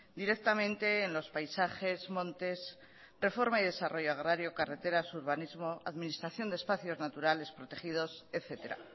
directamente en los paisajes montes reforma y desarrollo agrario carreteras urbanismo administración de espacios naturales protegidos etcétera